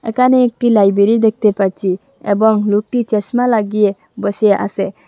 একানে একটি লাইব্রেরি দেখতে পাচ্ছি এবং লোকটি চশমা লাগিয়ে বসে আসে।